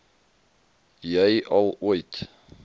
jy al ooit